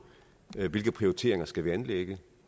det hvilke prioriteringer skal vi anlægge